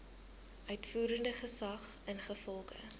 uitvoerende gesag ingevolge